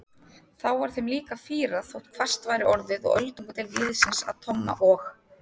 Þá var þeim líka fýrað þótt hvasst væri orðið og öldungadeild liðsins að Tomma og